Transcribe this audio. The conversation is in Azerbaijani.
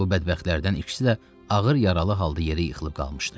Bu bədbəxtlərdən ikisi də ağır yaralı halda yerə yıxılıb qalmışdı.